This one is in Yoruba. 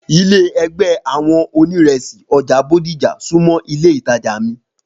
Ilé ègbé àwọn oníresì ọjà Bódìjà sunmọ